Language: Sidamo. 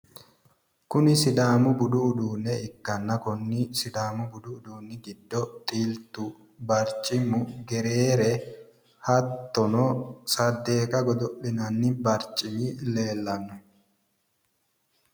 Kuni sidaamu budu uduunne ikkanna konni sidaamu budu uduunni giddo xiltu barcimu gereere hattono saddeqa godo'linanni barcimi leellanno